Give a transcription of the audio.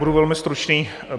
Budu velmi stručný.